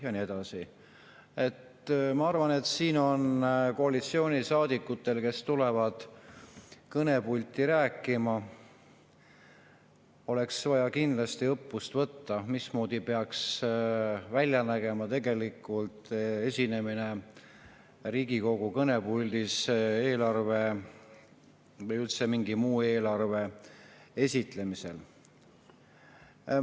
Ma arvan, et oleks koalitsioonisaadikutel, kes tulevad kõnepulti rääkima, vaja kindlasti õppust võtta, mismoodi peaks välja nägema esinemine Riigikogu kõnepuldis eelarve või üldse mingi muu esitlemisel.